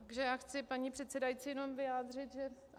Takže já chci, paní předsedající, jenom vyjádřit, že...